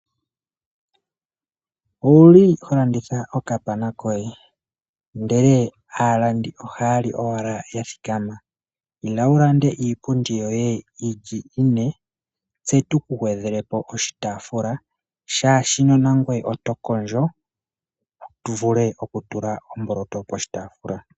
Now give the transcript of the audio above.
Owuli ho landitha okapana koye ndele aalandi ohaya li owala ya thikama? Ila wu lande iipundi yoye yilyi ine tse tuku gwedheleko oshitaafula shaashino nangoye oto kondjo wu vule oku tula omboloto oshitaafula.